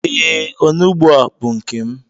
E, onugbu a bú nkem